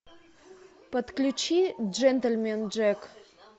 подключи джентельмен джек